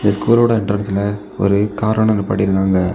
இந்த ஸ்கூல் ஓட என்டரன்ஸ் ல ஒரு கார் ஒன்னு நிப்பாட்டிருக்காங்க.